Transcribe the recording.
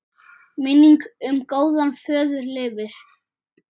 Minning um góðan föður lifir.